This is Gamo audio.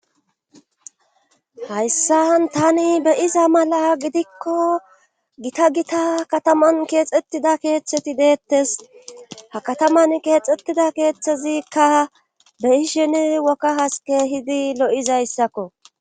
Hayssan tani be iza mala gidikko gita gita kataman keexettida keeththeti deettes ha kataman keexettida keeththezikka beishene wokka haske hidi lo7izayssakko